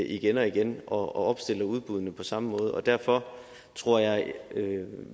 igen og igen og opstiller udbuddene på samme måde derfor tror jeg at